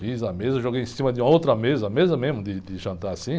Fiz a mesa, joguei em cima de outra mesa, mesa mesmo de, de jantar assim.